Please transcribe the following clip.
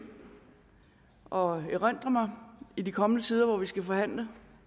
og erindre mig i den kommende tid hvor vi skal forhandle